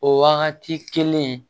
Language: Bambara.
O wagati kelen